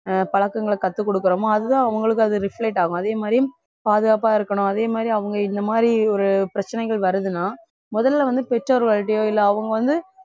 ஆஹ் பழக்கங்களை கற்றுக் கொடுக்கிறோமோ அதுதான் அவங்களுக்கு அது reflect ஆகும் அதே மாதிரி பாதுகாப்பா இருக்கணும் அதே மாதிரி அவங்க இந்த மாதிரி ஒரு பிரச்சனைகள் வருதுன்னா முதல்ல வந்து பெற்றோர்கள்கிட்டயோ இல்ல அவங்க வந்து